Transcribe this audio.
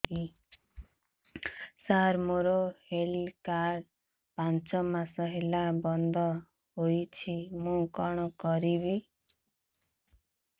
ସାର ମୋର health card ପାଞ୍ଚ ମାସ ହେଲା ବଂଦ ହୋଇଛି ମୁଁ କଣ କରିବି